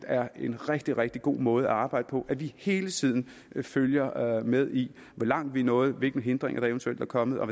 er en rigtig rigtig god måde at arbejde på at vi hele tiden følger med i hvor langt vi er nået hvilke hindringer der eventuelt er kommet og